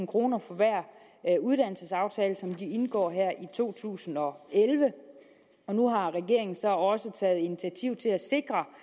kroner for hver uddannelsesaftale som de indgår her i to tusind og elleve og nu har regeringen så også taget initiativ til at sikre